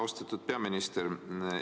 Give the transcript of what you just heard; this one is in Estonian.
Austatud peaminister!